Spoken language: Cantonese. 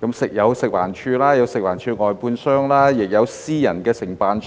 包括食環署、食環署外判商，也有私人承辦商。